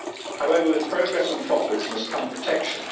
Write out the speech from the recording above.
However, with progress and profits must come protection.